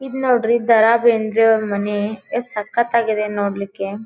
ಇದು ನೋಡ್ರಿ ದರಾ ಬೇಂದ್ರೆ ಅವರ ಮನೆ ಎಷ್ಟ್ ಸಕ್ಕತ್ ಆಗಿ ಇದೆ ನೋಡ್ಲಿಕೆ.